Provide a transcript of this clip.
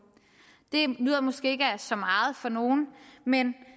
det lyder måske ikke af så meget for nogen men